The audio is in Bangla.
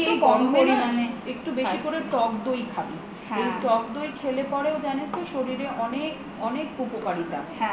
তারপর তুই একটু বেশি পরিমানে টক দই খাবি ওই টক দই খেলে পরে জানিস তো শরীরে অনেক অনেক উপকারিতা